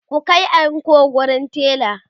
ku Kai anko wurin tela!